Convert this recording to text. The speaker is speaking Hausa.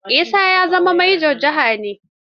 Isa yanzu manjo janar ne.